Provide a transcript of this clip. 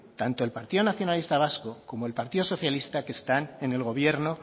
tanto el partido nacionalista vasco como el partido socialista que están en el gobierno